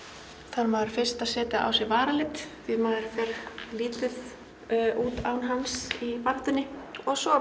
þarf maður fyrst að setja á sig varalit því maður fer lítið út án hans í baráttunni og svo